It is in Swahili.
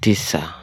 tisa.